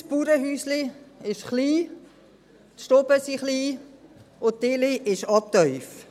Unser Bauernhäuschen ist klein, die Stuben sind klein und auch die Decke ist tief.